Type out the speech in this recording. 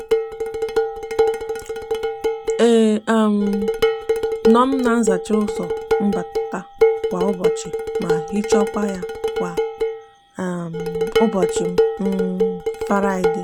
a um no m azacha uzo mbata kwa ubochi ma hiochakwa ya kwa um ubochi um faraide.